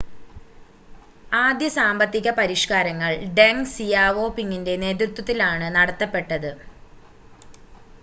ആദ്യ സാമ്പത്തിക പരിഷ്‌കാരങ്ങൾ ഡെങ് സിയാവോപിങിൻ്റെ നേതൃത്വത്തിലാണ് നടത്തപ്പെട്ടത്